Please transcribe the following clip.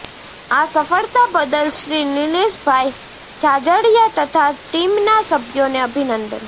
આ સફળતા બદલ શ્રી નિલેશભાઈ જાજડિયા તથા ટીમના સભ્યોને અભિનંદન